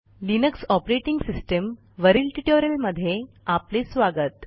Linux operating सिस्टीमवरील ट्युटोरियलमध्ये आपले स्वागत